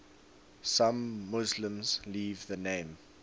some muslims leave the name